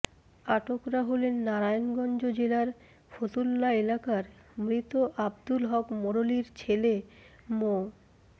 আটকরা হলেন নারায়ণগঞ্জ জেলার ফতুল্লা এলাকার মৃত আব্দুল হক মোড়লীর ছেলে মো